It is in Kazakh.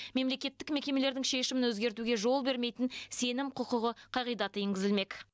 мемлекеттік мекемелердің шешімін өзгертуге жол бермейтін сенім құқығы қағидаты енгізілмек